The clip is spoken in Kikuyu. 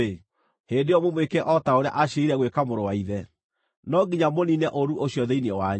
hĩndĩ ĩyo mũmwĩke o ta ũrĩa aciirĩire gwĩka mũrũ wa ithe. No nginya mũniine ũũru ũcio thĩinĩ wanyu.